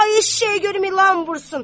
Ay eşşək görüm ilan vursun!